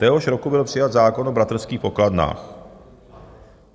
Téhož roku byl přijat zákon o bratrských pokladnách.